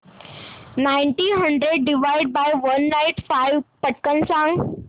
nineteen hundred divided by one not five पटकन सांग